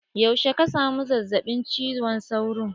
Yaushe ka samu zazzaɓin cizon sauro?